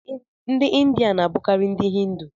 Ndị India na-abụkarị ndị Hindu.